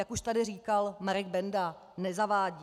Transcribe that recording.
Jak už tady říkal Marek Benda, nezavádí.